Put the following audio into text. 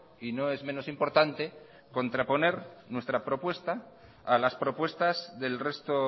y no es menos importante contraponer nuestra propuesta a las propuestas del resto